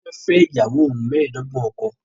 Toke ni iyawo ohun meedogbon ọkọ